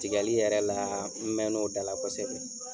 Tigɛli yɛrɛ la n mɛn n'o da la kosɛbɛ.